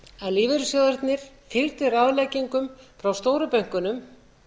að lífeyrissjóðirnir fylgdu ráðleggingum frá stóru bönkunum